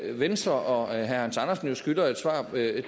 venstre og herre hans andersen jo skylder et svar